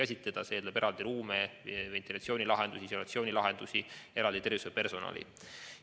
Nende jaoks läheb eraldi ruume, ventilatsiooni- ja isolatsioonilahendusi, eraldi tervishoiupersonali.